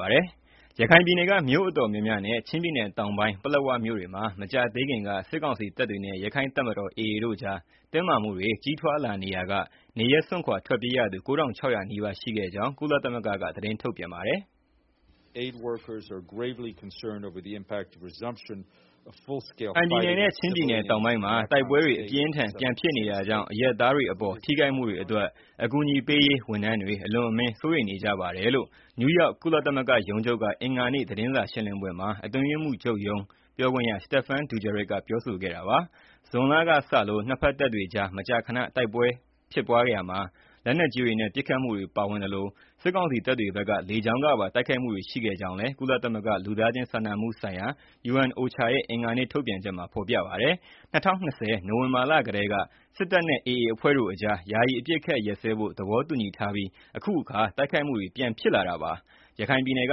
ပါးရှိ ရခိုင်ပြည်နယ်က မြို့အတော်များများနဲ့ ချင်းပြည်နယ်တောင်ပိုင်း ပလက်ဝ မြို့တွေမှာ မကြာသေးခင်က စစ်ကောင်စီတပ်တွေနဲ့ ရခိုင့်တပ်တော် တို့အကြား တင်းမာမှုတွေ ကြီးထွားလာနေရာက နေရပ်စွန့်ခွာ ထွက်ပြေးရသူ ၉,၆၀၀ နီးပါး ရှိခဲ့ကြောင်း ကုလသမဂ္ဂက သတင်းထုတ်ပြန်ပါတယ်။ "ရခိုင်ပြည်နယ်နဲ့ ချင်းပြည်နယ် တောင်ပိုင်းမှာ တိုက်ပွဲတွေ အပြင်းအထန် ပြန်ဖြစ်နေတာကြောင့် အရပ်သားတွေအပေါ် ထိခိုက်မှုတွေအတွက် အကူအညီပေးရေး ဝန်ထမ်းတွေ အလွန်အမင်း စိုးရိမ်နေကြပါတယ်။" လို့ နယူးယောက် ကုလသမဂ္ဂ ရုံးချုပ်က အင်္ဂါနေ့ သတင်းစာ ရှင်းလင်းပွဲမှာ အတွင်းရေးမှူးချုပ်ရုံး ပြောခွင့်ရ Stéphane Dujarric ပြောခဲ့တာပါ။ ဇွန်လကစ ၂ ဖက် တပ်တွေကြား မကြာခဏ တိုက်ခိုက်မှုတွေမှာ လက်နက်ကြီးတွေနဲ့ ပစ်ခတ်မှုတွေပါဝင်သလို စစ်ကောင်စီတပ်တွေဖက်က လေကြောင်းကပါ တိုက်ခိုက်မှုတွေ ရှိခဲ့ကြောင်းလည်း ကုလသမဂ္ဂ လူသားချင်းစာနာမှုဆိုင်ရာရုံး ရဲ့ အင်္ဂါနေ့ ထုတ်ပြန်ချက်မှာ ဖော်ပြပါတယ်။ ၂၀၂၀ နိုဝင်ဘာလကတည်းက စစ်တပ်နဲ့ AA အဖွဲ့တို့အကြား ယာယီအပစ်အခတ်ရပ်စဲဖို့ သဘောတူထားပြီးမှ အခုအခါ တိုက်ခိုက်မှုတွေ ပြန်ဖြစ်လာတာပါ။ ရခိုင်ပြည်နယ်က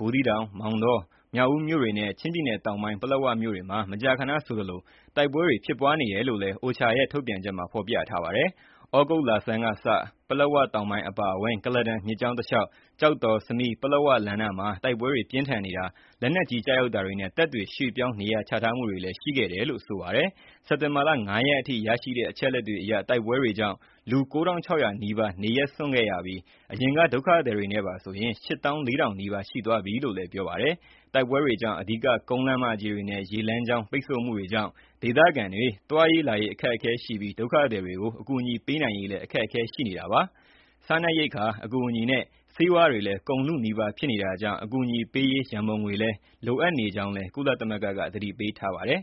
ဘူးသီးတောင်၊ မောင်းတော၊ မြောက်ဦးမြို့တွေနဲ့ ချင်းပြည်နယ်တောင်ပိုင်း ပလက်ဝမြို့ တွေမှာ မကြာခဏဆိုသလို တိုက်ပွဲတွေ ဖြစ်ပွားနေတယ်လို့လည်း OCHA ရဲ့ ထုတ်ပြန်ချက်မှာ ဖော်ပြပါတယ်။ သြဂုတ်လဆန်းကစ ပလက်ဝ တောင်ပိုင်း အပါအဝင်၊ ကုလားတန်မြစ်ကြောင်းတလျှောက်၊ ကျောက်တော် ၊ စမီး ၊ ပလက်ဝ လမ်းနားမှာ တိုက်ပွဲတွေ ပြင်းထန်နေကာ လက်နက်ကြီး ကျည်တွေ ကျရောက်ပေါက်ကွဲတာတွေနဲ့ တပ်တွေ ရွှေ့ပြောင်းနေရာ ချထားမှုတွေရှိတယ်လို့လည်း ဆိုပါတယ်။ စက်တင်ဘာ ၅ ရက် အထိ ရရှိတဲ့ အချက်အလက်တွေအရ တိုက်ပွဲတွေကြောင့် လူ ၉,၆၀၀ နီးပါး နေရပ်စွန့်ခဲ့ရပြီး၊ အရင်ကဒုက္ခသည်တွေနဲ့ပါဆိုရင် ၈၄,၀၀၀ နီးပါး ရှိသွားပြီလို့လည်း ပြောပါတယ်။ တိုက်ပွဲတွေကြောင့် အဓိက ကုန်းလမ်းမကြီးတွေနဲ့ ရေလမ်းကြောင်း ပိတ်ဆို့မှုတွေအတွက်ကြောင့် ဒေသခံတွေ သွားရေးလာရေး အခက်အခဲရှိပြီး ဒုက္ခသည်တွေကို အကူအညီပေးနိုင်ရေးလည်း အခက်အခဲရှိနေတာပါ။ စားနပ်ရိက္ခာအကူအညီနဲ့ ဆေးဝါးတွေလည်း ကုန်လုနီးပါး ဖြစ်နေတာကြောင့် အကူအညီပေးရေး ရန်ပုံငွေလည်း လိုအပ်နေတဲ့အကြောင်း ကုလသမဂ္ဂက သတိပေးထားပါတယ်